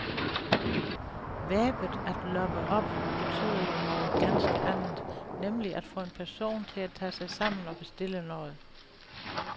Verbet at loppe op betyder jo noget ganske andet, nemlig at få en person til at tage sig sammen og bestille noget.